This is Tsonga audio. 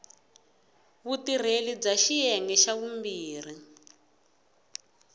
vutirheli bya xiyenge xa vumbirhi